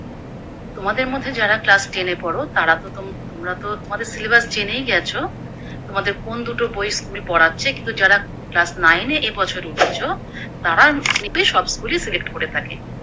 তোমাদের মধ্যে যার Class ten এ পড়ো তারা তো তোমরা তো সিলেবাস জেনেই গেছো তোমাদের কোন দুটো বই School পড়াচ্ছে, কিন্তু যারা Class nine এ এবছর উঠেছো তারা এমনিতে সব School ই করে থাকে।